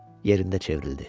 Yerində çevrildi.